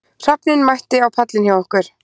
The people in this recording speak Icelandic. Hrafninn mætti á pallinn hjá okkur